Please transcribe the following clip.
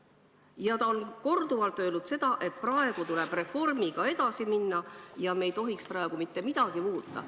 Ja ta on korduvalt öelnud, et praegu tuleb reformiga edasi minna, me ei tohiks mitte midagi muuta.